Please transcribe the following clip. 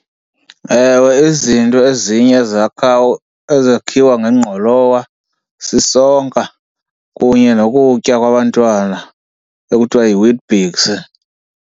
Ewe izinto ezinye ezakhiwa ngengqolowa sisonka kunye nokutya kwabantwana ekuthiwa yiWeet-Bix.